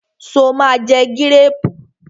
Sọ ma jẹ gírèrù?